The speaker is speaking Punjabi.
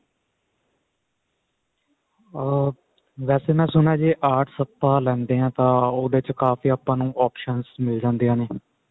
ਅਹ ਵੈਸੇ ਮੈਂ ਸੁਣਿਆ ਜੇ arts ਆਪਾਂ ਲੇਂਦੇ ਹਾਂ ਤਾਂ ਉਹਦੇ ਚ ਆਪਾਂ ਨੂੰ ਕਾਫੀ options ਮਿਲ ਜਾਂਦੀਆਂ ਨੇ